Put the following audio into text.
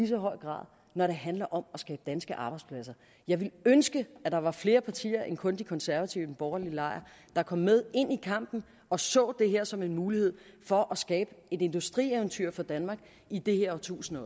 så høj grad når det handler om at skabe danske arbejdspladser jeg ville ønske at der var flere partier end kun de konservative i den borgerlige lejr der kom med ind i kampen og så det her som en mulighed for at skabe et industrieventyr for danmark i det her årtusind